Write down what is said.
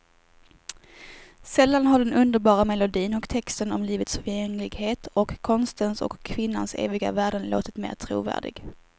Sällan har den underbara melodin och texten om livets förgängligheten och konstens och kvinnans eviga värden låtit mera trovärdig.